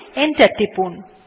enter টিপুন